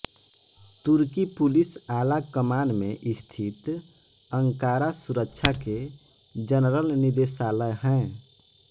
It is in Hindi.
तुर्की पुलिस आलाकमान में स्थित अंकारा सुरक्षा के जनरल निदेशालय है